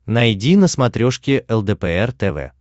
найди на смотрешке лдпр тв